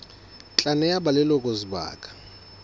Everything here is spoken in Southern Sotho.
tla neha ba leloko sebaka